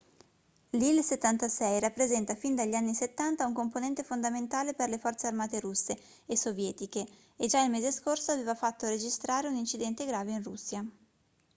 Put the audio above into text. l'il-76 rappresenta fin dagli anni 70 un componente fondamentale per le forze armate russe e sovietiche e già il mese scorso aveva fatto registrare un incidente grave in russia